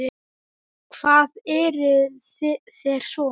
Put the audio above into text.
Og hvað gerðuð þér svo?